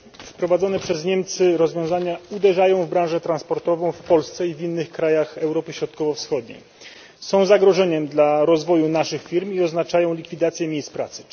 Wprowadzone przez Niemcy rozwiązania uderzają w branżę transportową w Polsce i w innych krajach Europy Środkowo Wschodniej, są zagrożeniem dla rozwoju naszych firm i oznaczają likwidację miejsc pracy.